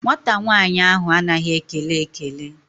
Nwata nwaanyị ahụ anaghị ekele ekele.